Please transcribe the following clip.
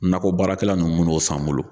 Nakɔ baarakɛla ninnu min'o san n bolo.